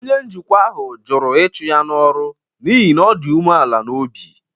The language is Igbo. Onye njikwa ahụ jụrụ ịchụ ya n’ọrụ n’ihi na ọ dị umeala n’obi.